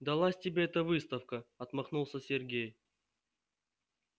далась тебе эта выставка отмахнулся сергей